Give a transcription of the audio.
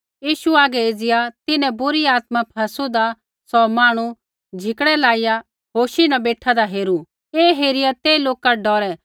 यीशु हागै एज़िया तिन्हैं बुरी आत्मा फैसूदा सौ मांहणु झिकड़ै लाइया होशी न बेठादा हेरू ऐ हेरिया ते लोका डौरै